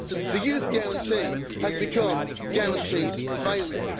The Youth Guarantee has come to mean guaranteed failure.